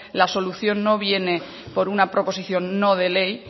la solución no viene por una proposición no de ley